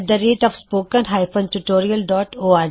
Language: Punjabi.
ਤੁਹਾਡਾ ਧੰਨਵਾਦ ਸਾਡੇ ਨਾਲ ਜੁੜਨ ਲਈ